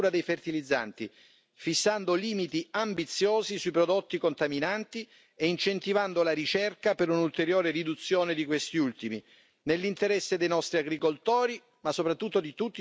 fissando limiti ambiziosi sui prodotti contaminanti e incentivando la ricerca per un'ulteriore riduzione di questi ultimi, nell'interesse dei nostri agricoltori ma, soprattutto, di tutti i nostri cittadini europei.